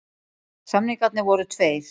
Samningarnir voru tveir